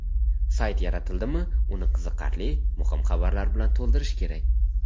Sayt yaratildimi uni qiziqarli, muhim xabarlar bilan to‘ldirish kerak.